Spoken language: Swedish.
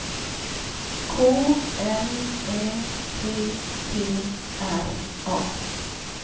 K L Ä T T R A